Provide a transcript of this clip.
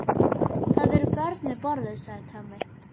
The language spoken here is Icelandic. Það eru börn við borðið, sagði Tommi.